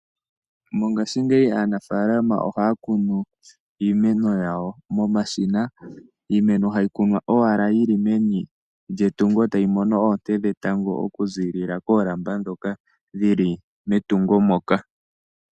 Mongaashingeyi aanafaalama ohaya kunu iimeno yawo momashina. Iimeno hayi kunwa owala yi li meni lyetungo e tayi mono oonte dhetango okuziilila koolamba ndhoka dhi li metungo moka.